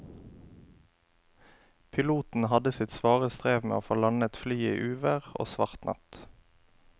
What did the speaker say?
Piloten hadde sitt svare strev med å få landet flyet i uvær og svart natt.